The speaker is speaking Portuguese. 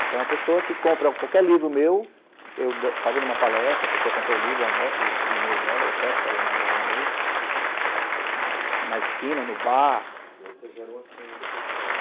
Então a pessoa que compra qualquer livro meu, eu fou, azendo uma palestra, a pessoa compra o livro, eu anoto o e-mail dela, ou peço para ela me mandar o e-mail, na esquina, no bar. E aí você gera uma senha depois para ela